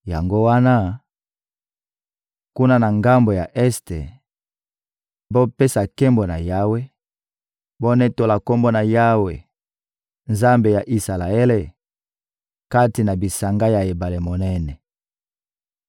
Yango wana, kuna na ngambo ya este, bopesa nkembo na Yawe; bonetola Kombo ya Yawe, Nzambe ya Isalaele, kati na bisanga ya ebale monene.